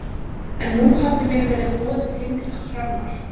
En nú hafði mér verið boðið heim til Hrannar.